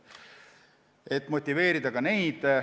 Tuleks motiveerida ka neid.